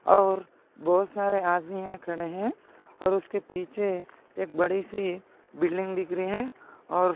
और बहुत सारे आदमी यहा खड़े है। और उसके पिछे एक बडीसी बिल्डिंग दिख रही है। और--